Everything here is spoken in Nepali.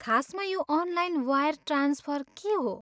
खासमा यो अनलाइन वायर ट्रान्सफर के हो?